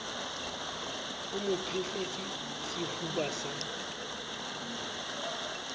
o mo phehletse sefuba sa